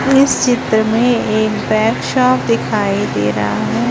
इस चित्र में एक बेच्चा दिखाई दे रहा है।